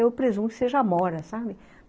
Eu presumo que seja amora, sabe?